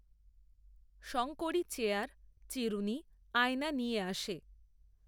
Shankari chair, চিরুণি, আয়না নিয়ে আসে।